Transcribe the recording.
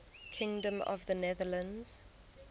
kingdom of the netherlands